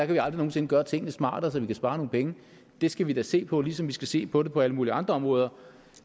vi aldrig nogen sinde gøre tingene smartere så vi kan spare nogle penge det skal vi da se på ligesom vi skal se på det på alle mulige andre områder